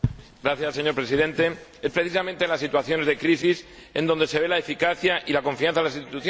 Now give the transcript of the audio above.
Señor Presidente, es precisamente en las situaciones de crisis en donde se ve la eficacia y la confianza en las instituciones.